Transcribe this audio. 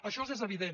això és evident